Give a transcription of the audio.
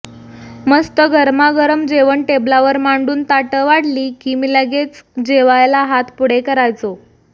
मस्त गरमागरम जेवण टेबलावर मांडून ताटं वाढली की मी लगेच जेवायला हात पुढे करायचो